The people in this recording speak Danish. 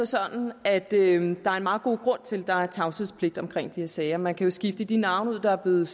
sådan at der er en meget god grund til at der er tavshedspligt omkring de her sager man kan jo skifte de navne der er blevet